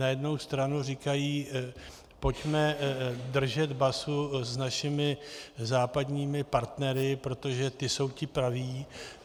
Na jednu stranu říkají: Pojďme držet basu s našimi západními partnery, protože ti jsou ti praví.